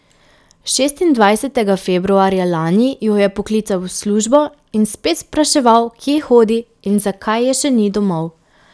Šestindvajsetega februarja lani jo je poklical v službo in spet spraševal, kje hodi in zakaj je še ni domov.